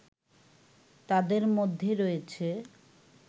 তাদের মধ্যে রয়েছে